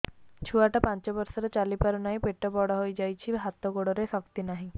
ଛୁଆଟା ପାଞ୍ଚ ବର୍ଷର ଚାଲି ପାରୁ ନାହି ପେଟ ବଡ଼ ହୋଇ ଯାଇଛି ହାତ ଗୋଡ଼ରେ ଶକ୍ତି ନାହିଁ